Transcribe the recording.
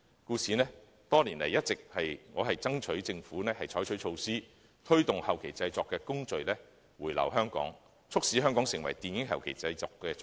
故此，多年來，我一直爭取政府採取措施，推動後期製作的工序回流香港，促使香港成為電影後期製作中心。